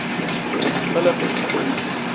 king philip